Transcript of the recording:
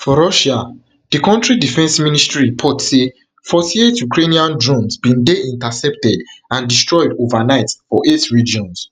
for russia di kontri defence ministry report say forty-eight ukrainian drones bin dey intercepted and destroyed overnight for eight regions